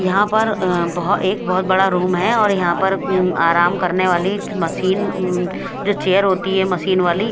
यहाँ पर अ- बोहोत एक बोहोत बड़ा रूम है और पर आराम करने वाली मशीन उम्म अ जो चेयर होती है मशीन वाली--